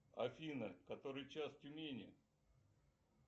афина который час в тюмени